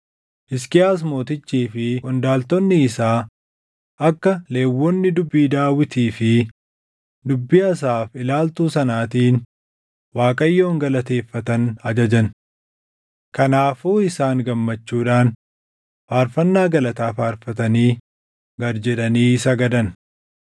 Hisqiyaas Mootichii fi qondaaltonni isaa akka Lewwonni dubbii Daawitii fi dubbii Asaaf ilaaltuu sanaatiin Waaqayyoon galateeffatan ajajan. Kanaafuu isaan gammachuudhaan faarfannaa galataa faarfatanii gad jedhanii sagadan.